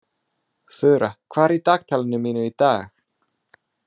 Þura, hvað er í dagatalinu mínu í dag?